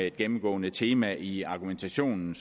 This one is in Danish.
et gennemgående tema i argumentationen